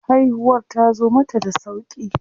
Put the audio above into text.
Haihuwar tazo mata da sauƙi.